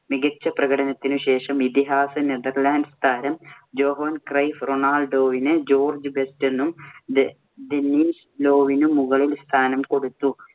മികച്ച പ്രകടനത്തിനു ശേഷം ഇതിഹാസ നെതർലൻഡ് താരം ജോഹാൻ ക്രൈഫ് റൊണാൾഡോവിന് ജോർജ് ബെസ്റ്റിനും, ദെൻ~ദെന്നിസ് ലോവിനും മുകളിൽ സ്ഥാനം കൊടുത്തു.